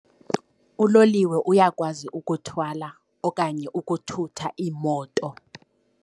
Uloliwe uyakwazi ukuthwala okanye ukuthutha iimoto.